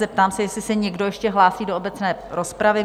Zeptám se, jestli se někdo ještě hlásí do obecné rozpravy?